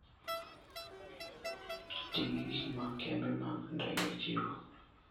Ti gi gik ma kembe mag ndege chiwo.